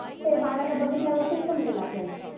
ते बाळाला बघितल्यावरच समजेल आपल्याला